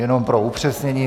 Jenom pro upřesnění.